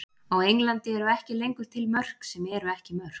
Á Englandi eru ekki lengur til mörk sem eru ekki mörk.